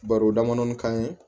Baro damadɔnin kan ye